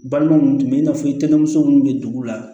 Balima minnu tun bɛ i n'a fɔ itmuso minnu bɛ dugu la